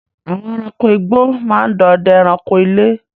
Àwọn èràńko ìgbó máa ń dòdè èràńko ilé.